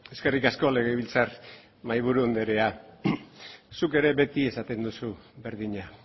eskerrik asko legebiltzar mahaiburu anderea zuk ere beti esaten duzu berdina